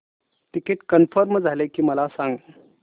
ticket confirm झाले की मला सांग